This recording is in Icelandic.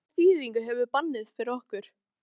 En hvaða þýðingu hefur bannið fyrir okkur?